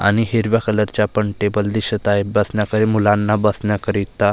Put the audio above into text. आणि हिरव्या कलर चा पण टेबल दिसत आहे बसण्याकरी मुलांना बसण्याकरिता--